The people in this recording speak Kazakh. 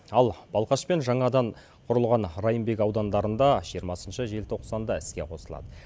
ал балқаш пен жаңадан құрылған райымбек аудандарында жиырмасыншы желтоқсанда іске қосылады